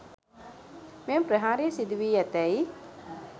මෙම ප්‍රහාරය සිදු වී ඇතැයි